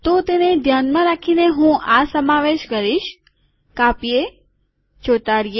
તો તેને ધ્યાનમાં રાખીને હું આ સમાવેશ કરીશ કાપીએ ચોંટાડીએ